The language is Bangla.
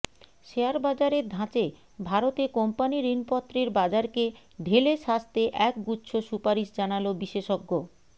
শেয়ার বাজারের ধাঁচে ভারতে কোম্পানি ঋণপত্রের বাজারকে ঢেলে সাজতে একগুচ্ছ সুপারিশ জানাল বিশেষজ্ঞ